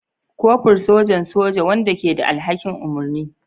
Kofur, sojan soja wanda ke da alhakin umarni.